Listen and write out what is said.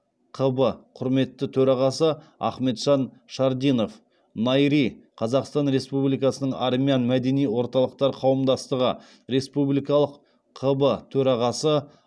қб құрметті төрағасы ахметжан шардинов найри қазақстан республикасының армян мәдени орталықтар қауымдастығы республикалық қб төрағасы